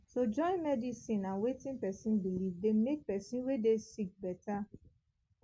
to join medicine and wetin pesin believe dey make pesin wey dey sick better